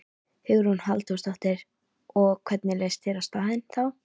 Hugrún Halldórsdóttir: Og, hvernig leist þér á staðinn þá?